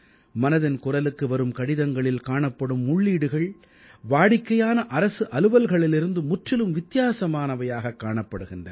மனதின் குரலுக்கு வரும் கடிதங்களில் காணப்படும் உள்ளீடுகள் வாடிக்கையான அரசு அலுவல்களிலிருந்து முற்றிலும் வித்தியாசமானவையாக காணப்படுகின்றன